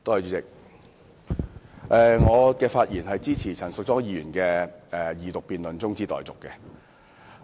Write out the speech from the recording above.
主席，我發言支持陳淑莊議員提出的二讀辯論中止待續議案。